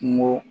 Kungo